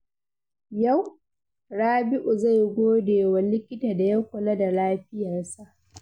Yau, Rabi’u zai gode wa likita da ya kula da lafiyarsa.